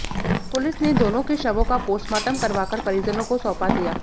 police ने दोनों के शवों का पोस्टमार्टम करवाकर परिजनों को सौंपा दिया